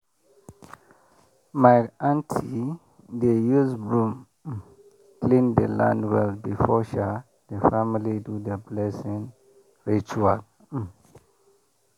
my aunty dey use broom um clean the land well before um the family do the blessing ritual. um